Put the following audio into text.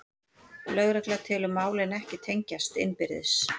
Lögregla telur málin ekki tengjast innbyrðis